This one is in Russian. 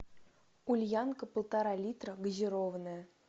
ульянка полтора литра газированная